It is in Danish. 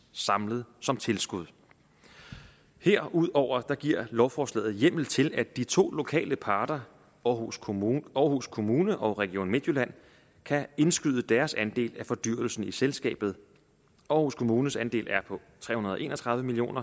samlet som tilskud herudover giver lovforslaget hjemmel til at de to lokale parter aarhus kommune aarhus kommune og region midtjylland kan indskyde deres andel af fordyrelsen i selskabet aarhus kommunes andel er på tre hundrede og en og tredive million